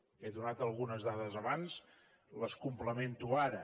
n’he donat algunes dades abans les complemento ara